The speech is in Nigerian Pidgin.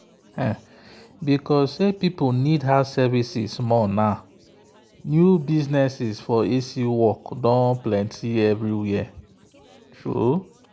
because people need house services more new business for a/c work don plenty everywhere.